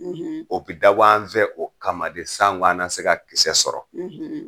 O bi dabɔ an fɛ, o kama de san go an na se ka kisɛ sɔrɔ